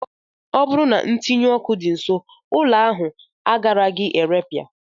Ọ bụrụ na ntinyụọkụ dị nsọ, ụlọ ahụ agaraghị irepịa